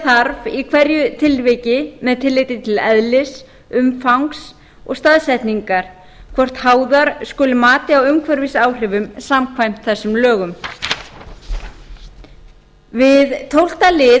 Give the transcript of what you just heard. þarf í hverju tilviki með tilliti til eðlis umfangs og staðsetningar hvort háðar skulu mati á umhverfisáhrifum samkvæmt þessum lögum við tólfta lið